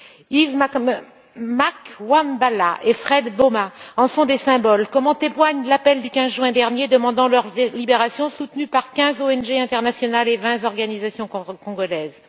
Yves Makwambala et Fred Bauma en sont des symboles, comme en témoigne l'appel du 15 juin dernier demandant leur libération, soutenu par quinze ONG internationales et vingt organisations congolaises.